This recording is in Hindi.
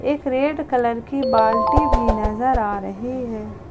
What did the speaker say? एक रेड कलर की बाल्टी भी नजर आ रही है।